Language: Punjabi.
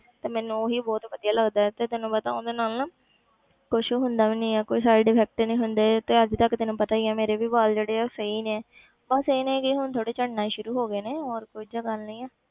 ਤੇ ਮੈਨੂੰ ਉਹੀ ਬਹੁਤ ਵਧੀਆ ਲੱਗਦਾ ਹੈ ਤੇ ਤੈਨੂੰ ਪਤਾ ਉਹਦੇ ਨਾਲ ਨਾ ਕੁਛ ਹੁੰਦਾ ਵੀ ਨੀ ਹੈ ਕੋਈ side effect ਨੀ ਹੁੰਦੇ ਤੇ ਅੱਜ ਤੱਕ ਤੈਨੂੰ ਪਤਾ ਹੀ ਹੈ ਮੇਰੇ ਵੀ ਵਾਲ ਜਿਹੜੇ ਆ ਉਹ ਸਹੀ ਨੇ ਬਸ ਇਹ ਨੇ ਕਿ ਹੁਣ ਥੋੜ੍ਹੇ ਝੜਨਾ ਸ਼ੁਰੂ ਹੋ ਗਏ ਨੇ, ਹੋਰ ਕੁੱਝ ਗੱਲ ਨਹੀਂ ਹੈ।